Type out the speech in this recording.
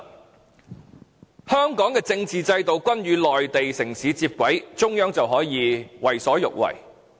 當香港的政治制度與內地城市接軌，中央便可以為所欲為。